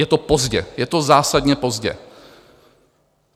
Je to pozdě, je to zásadně pozdě.